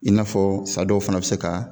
I n'a fɔ sa dɔw fana bɛ se ka